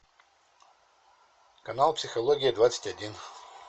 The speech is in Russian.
канал психология двадцать один